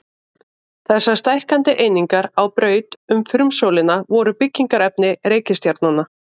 Þessar stækkandi einingar á braut um frumsólina voru byggingarefni reikistjarnanna.